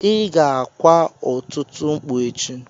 Ị ga-kwa ọtụtụ mkpu echi.